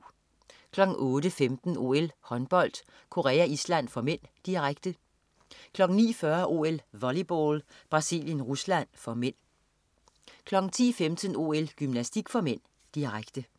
08.15 OL: Håndbold. Korea-Island (m), direkte 09.40 OL: Volleyball. Brasilien-Rusland (m) 10.15 OL: Gymnastik (m), direkte